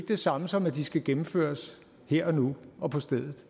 det samme som at de skal gennemføres her og nu og på stedet